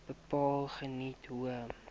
bepaal geniet hoë